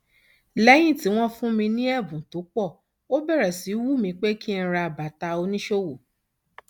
lẹyìn tí wọn fún mi ní ẹbùn tó pọ ó bẹrẹ sí í wù mí pé kí n ra bàtà oníṣòwò